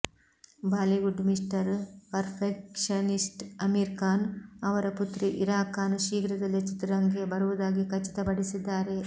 Bollywood mister perfectionist Aamir Khan ಅವರ ಪುತ್ರಿ ಇರಾ ಖಾನ್ ಶೀಘ್ರದಲ್ಲೇ ಚಿತ್ರರಂಗಕ್ಕೆ ಬರುವುದಾಗಿ ಖಚಿತಪಡಿಸಿದ್ದಾರೆ